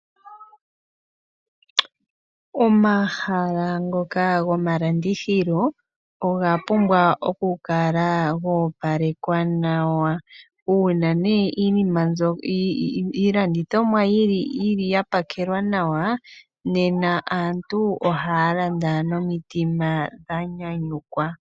Omahala ngoka gomalandithilo oga pumbwa okukala goopalekwa nawa . Uuna iilandithomwa yapakelwa nawa nena aantu ohaya landa nomutima dhanyanyukwa.